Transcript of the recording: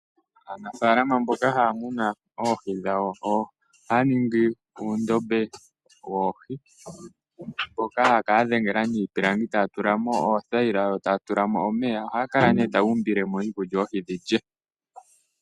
Aanafaalama mboka haya munu oohi dhawo ohaya ningi uundombe woohi, mboka haya kala ya dhengela niipilangi taya tula mo oothayila nomeya. Ohaya kala nduno taya umbile mo iikulya oohi dhi lye.